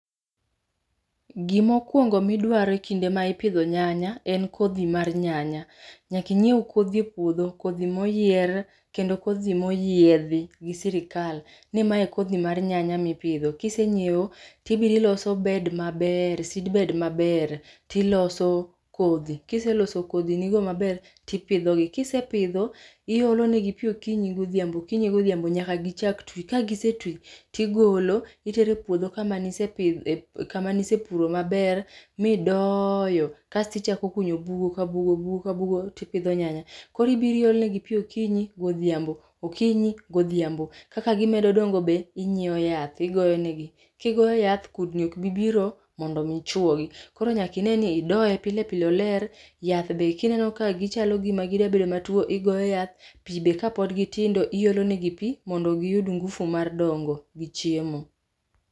Gimokwongo midwaro e kinde ma ipidho nyanya en kodhi mar nyanya. Nyaka inyiew kodhi e puodho, kodhi moyier kendo kodhi moyiedhi gi sirikal, ni mae kodhi mar nyanya mipidho. Kisenyiewo tibiro iloso bed maber, seedbed maber tiloso kodhi. kiseloso kodhinigo maber tipidhogi. kisepidho iolo negi pi okinyi godhiambo okinyi godhiambo nyaka gichak twi. Kagisetwi ti golo itere puodho kama niseouro maber midoyo, kasto ichako kunyo bugo ka bugo ,bugo ka bugo tipidho nyanya. Koro ibiro iolo negi pi okinyi godhiambo okinyi godhiambo kaka gimedo dongo be, inyiewo yath igoyo negi. Kigoyo yath kudni ok bi biro mondo omi chuogi. Koro nyaka ine ni idoye pile pile oler, yath be kineno ka gichalo gima gida bedo matuwo, igoyo yath, pi be kapod gitindo, iolonegi pi mondo giyud ngufu mar dongo gi chiemo.